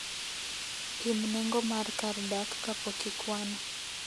Pim nengo mar kar dak kapok ikwano.